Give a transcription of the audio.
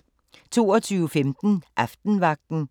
22:15: Aftenvagten